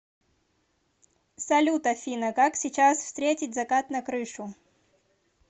салют афина как сейчас встретить закат на крышу